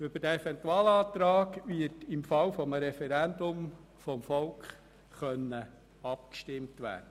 Darüber kann das Volk im Falle eines Referendums abstimmen.